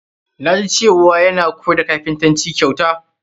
Na ji cewa yana koyar da kapintanci kyauta.